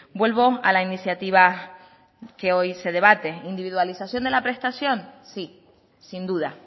vuelvo a la iniciativa que hoy se debate individualización de la prestación sí sin duda